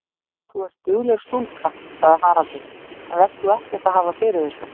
Þú ert dugleg stúlka, sagði Haraldur, en vert þú ekkert að hafa fyrir þessu.